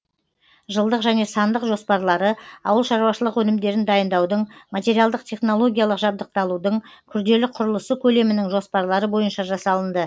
жылдық және сандық жоспарлары ауыл шаруашылық өнімдерін дайындаудың материалдық технологиялық жабдықталудың күрделі құрылысы көлемінің жоспарлары бойынша жасалынды